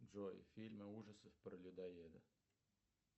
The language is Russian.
джой фильмы ужасов про людоеда